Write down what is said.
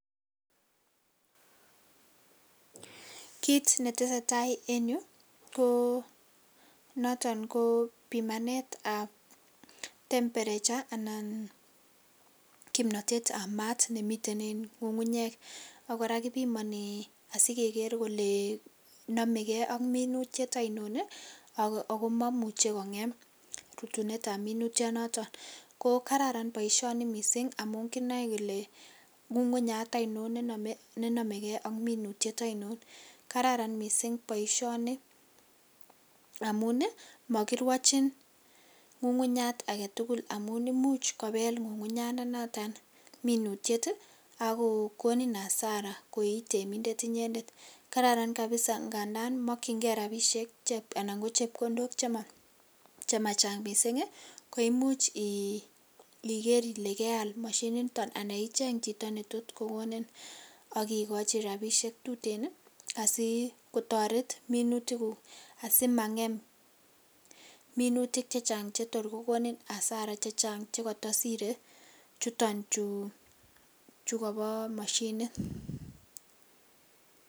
Kiit netesetaa en yuu ko noton ko pimanetab temperature anan kimnotetab maat nemiten en ng'ung'unyek ak kora kipimoni asikeker kelee nomeke ak minutiet ainon ak ko momuche kong'em rutunetab minutionoton, ko kararan boishoni mising amun kinoe kelee ng'ung'unyat ainon nenomeke ak minutiet ainon, kararan mising boishoni amun mokirwochin ng'ung'unyat aketukul amun imuch kobel ng'ung'unyanda noton minutiet ak kokonin asara ko itemindet inyendet, kararan kabisaa ng'andan mokyinge rabishek chep anan ko chepkondok chemachang mising koimuch iker ilee keal moshiniton anan icheng chito netot kokonin ak ikochi rabishek tuten asikotoret minutikuk asimang'em minutik chechang chetor ko konin asara chechang chekotosire chuton chuu chukobo moshinit.